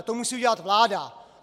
A to musí udělat vláda.